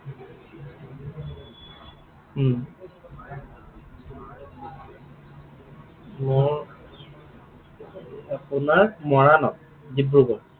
উম ময়ো আপোনাৰ মৰাণত, ডিব্ৰুগড়।